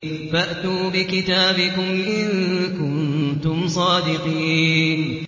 فَأْتُوا بِكِتَابِكُمْ إِن كُنتُمْ صَادِقِينَ